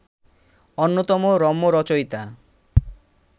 অন্যতম রম্যরচয়িতা